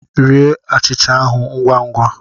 Rie achịcha ahụ ngwa ngwa!